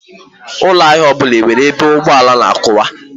Ụlọ ahịa ọbụla enwere ebe ụgbọala na-akwụwa?